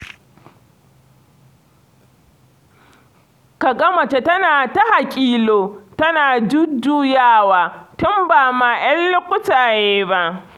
Ka ga mace tana ta haƙilo, tana jujjuyawa, tun ba ma 'yan lukutaye ba.